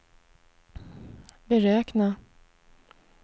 beräkna